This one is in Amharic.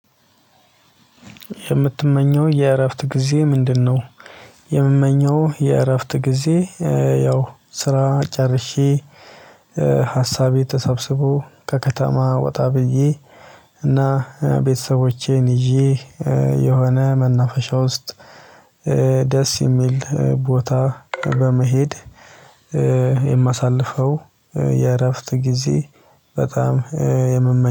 የምትመኘው የእረፍት ጊዜ ምንድነው? የምመኘው የእረፍት ጊዜ። ያው ስራ ጨርሼ ሀሳቤ ተሰብስቦ ከከተማ ወጣ ብዬ እና ቤተሰቦቼን ይዤ የሆነ መናፈሻ ውስጥ። የሚል ቦታ በመሄድ የማሳልፈው የእረፍት ጊዜ በጣም የምመኘው